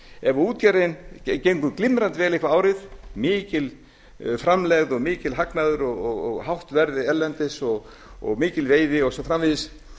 ef útgerðin gengur glimrandi vel eitthvert árið mikil framlegð mikill hagnaður og hátt verðið erlendis og mikil veiði og svo framvegis